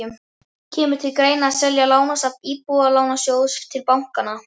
Kemur til greina að selja lánasafn Íbúðalánasjóðs til bankanna?